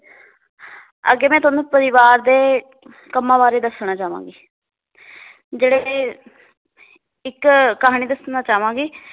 ਅੱਗੇ ਮੈ ਤੁਹਾਨੂੰ ਪਰਿਵਾਰ ਦੇ ਕੰਮਾਂ ਬਾਰੇ ਦੱਸਣਾ ਚਾਵਾਂਗੀ ਜਿਹੜੇ ਇਹ ਇੱਕ ਕਹਾਣੀ ਦੱਸਣਾ ਚਾਵਾਂਗੀ